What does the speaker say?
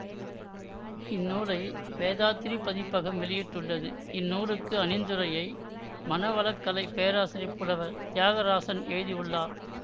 இந்நூலை வேதாத்திரி பதிப்பகம் வெளியிட்டுள்ளது இந்நூலுக்கு அணிந்துரையை மனவளக்கலைப் பேராசிரியர் புலவர் தியாகராசன் எழுதியுள்ளார்